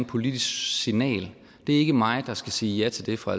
politisk signal det er ikke mig der skal sige ja til det fra